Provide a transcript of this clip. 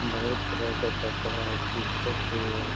बहुत तरह के कपड़ा हेय टी-शर्ट भी है।